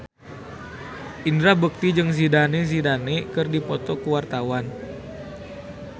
Indra Bekti jeung Zidane Zidane keur dipoto ku wartawan